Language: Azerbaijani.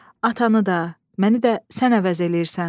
Atanı da, məni də sən əvəz eləyirsən.